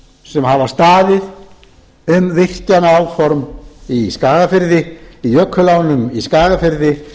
sem hafa staðið um virkjanaáform í skagafirði í jökulánum í skagafirði